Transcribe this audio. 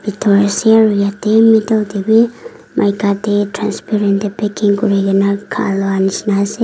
yeti middle teh wii maika transparent teh packing kurigena khaloi ase.